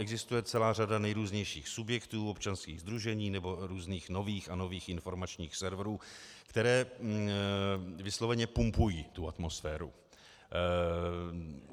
Existuje celá řada nejrůznějších subjektů, občanských sdružení nebo různých nových a nových informačních serverů, které vysloveně pumpují tu atmosféru.